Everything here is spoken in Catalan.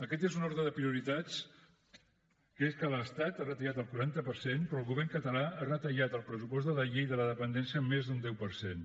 aquest és un ordre de prioritats que és que l’estat ha retirat el quaranta per cent però el govern català ha retallat el pressupost de la llei de dependència en més d’un deu per cent